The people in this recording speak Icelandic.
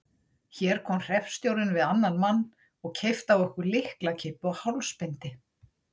Hér kom hreppstjórinn við annan mann og keypti af okkur lyklakippu og hálsbindi.